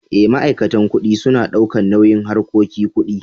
Eh, ma'aikatan kuɗi suna daukan nauyin harkoki ƙuɗi.